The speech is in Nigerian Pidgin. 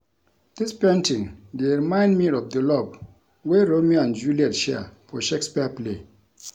Dis painting dey remind me of the love wey Romeo and Juliet share for Shakespeare play